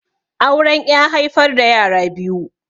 Auren ƴa haifar da yara biyu.